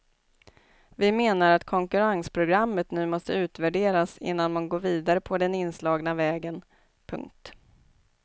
Vi menar att konkurrensprogrammet nu måste utvärderas innan man går vidare på den inslagna vägen. punkt